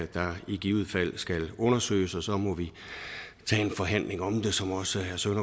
der i givet fald skal undersøges og så må vi tage en forhandling om det som også herre søren